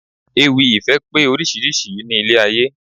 Ewì ìfẹ́ pé oríṣiríṣi ní ilé ayé